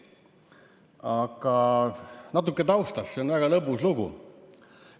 Aga natuke taustast, see on väga lõbus lugu.